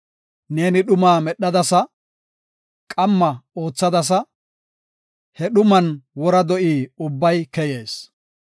Neeni dhumaa medhadasa; qamma oothadasa; he dhuman wora do7i ubbay keyees.